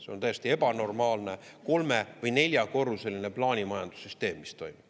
See on täiesti ebanormaalne kolme- või neljakorruseline plaanimajanduse süsteem, mis toimub.